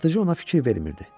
Satıcı ona fikir vermirdi.